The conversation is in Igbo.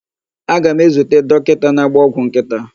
Aga m ezute dokita na-agba ọgwụ nkịta.